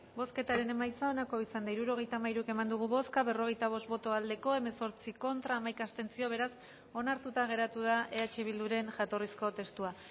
bozketaren emaitza onako izan da hirurogeita hamairu eman dugu bozka berrogeita bost boto aldekoa hemezortzi contra hamaika abstentzio beraz onartuta geratu da eh bilduren jatorrizko testua